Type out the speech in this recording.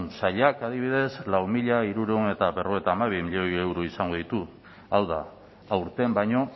sailak adibidez lau mila hirurehun eta berrogeita hamabi milioi euro izango ditu hau da aurten baino